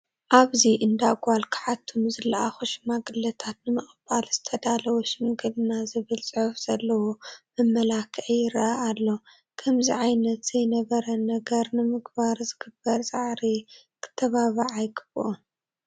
ኣብዚ እንዳ ጓል ክሓቱ ንዝለኣኹ ሽማግለታት ንምቕባል ዝተዳለወ ሽምግልና ዝብል ፅሑፍ ዘለዎ መመላክዒ ይርአ ኣሎ፡፡ ከምዚ ዓይነት ዘይነበረ ነገር ንምግባር ዝግበር ፃዕሪ ክተባባዕ ኣይግብኦን፡፡